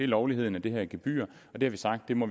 lovligheden af det her gebyr det har vi sagt vi må